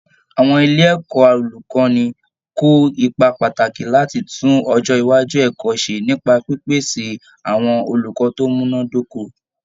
Àwọn ilé ẹ̀kọ́ olùkọ́ni kó ipa pàtàkì láti tún ọjọ́ iwájú ẹ̀kọ́ ṣe nípa pípèsè àwọn olùkọ́ tó múná dóko